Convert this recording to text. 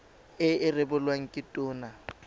e e rebolwang ke tona